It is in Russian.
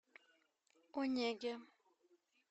онеге